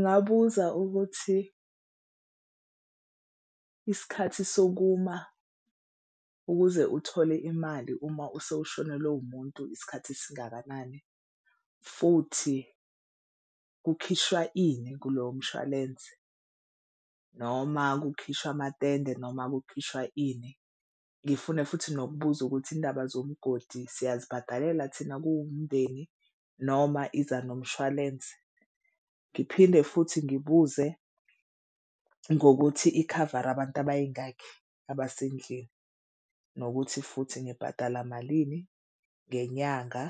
Ngingabuza ukuthi isikhathi sokuma ukuze uthole imali uma usewushonelwe umuntu isikhathi esingakanani, futhi kukhishwa ini kulowo mshwalense noma kukhishwa amatende noma kukhishwa ini. Ngifune futhi nokubuza ukuthi indaba zomgodi siyazibhadalela thina kuwumndeni noma iza nomshwalense. Ngiphinde futhi ngibuze ngokuthi ikhavare abantu abayingakhi abasendlini. Nokuthi futhi ngibhatala malini ngenyanga.